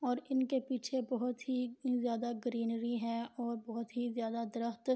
اور انکے پیچھے بوھت ہی زیادا گرینری ہے اور بہت ہی زیادا دارقط